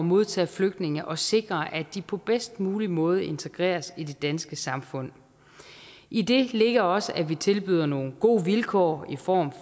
modtage flygtninge og sikre at de på bedst mulig måde integreres i det danske samfund i det ligger også at vi tilbyder nogle gode vilkår i form